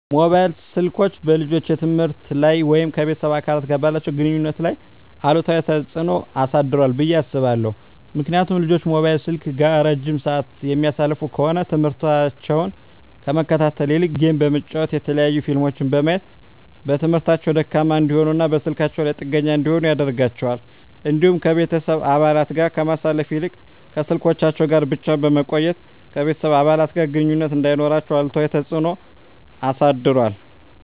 መሞባይል ስልኮች በልጆች የትምህርት ላይ ወይም ከቤተሰብ አባላት ጋር ባላቸው ግንኙነት ላይ አሉታዊ ተጽዕኖ አሳድሯል ብየ አስባለሁ። ምክንያቱም ልጆች ሞባይል ስልክ ጋር እረጅም ስዓት የሚያሳልፉ ከሆነ ትምህርሞታቸውን ከመከታተል ይልቅ ጌም በመጫወት የተለያዩ ፊልሞችን በማየት በትምህርታቸው ደካማ እንዲሆኑና በስልካቸው ላይ ጥገኛ እንዲሆኑ ያደርጋቸዋል። እንዲሁም ከቤተሰብ አባለት ጋር ከማሳለፍ ይልቅ ከስልኮቻቸው ጋር ብቻ በመቆየት ከቤተሰብ አባለት ጋር ግንኙነት እንዳይኖራቸው አሉታዊ ተፅዕኖ አሳድሯል።